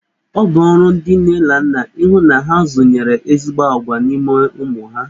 Ọ bụ ọrụ ndị nne na nna ihụ na ha zụnyere ezigbo agwa n'ime ụmụ ha.